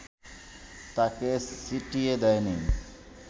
তাঁকে সিটিয়ে দেয়নি